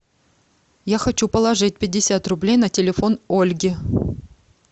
я хочу положить пятьдесят рублей на телефон ольги